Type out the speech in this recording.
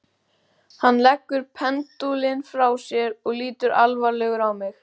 Hann leggur pendúlinn frá sér og lítur alvarlegur á mig.